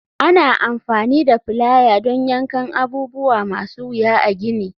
Ana amfani da plier don yankan abubuwa masu wuya a gini.